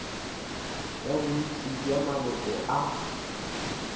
ya bontši bja maloko a